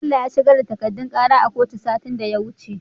Bello ya shigar da takadun kara a kotu satin da ya wuce